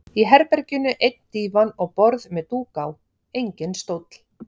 Í herberginu einn dívan og borð með dúk á, enginn stóll.